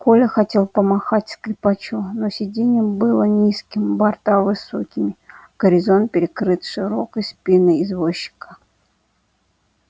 коля хотел помахать скрипачу но сиденье было низким борта высокими горизонт перекрыт широкой спиной извозчика